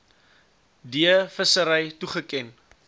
d vissery toegeken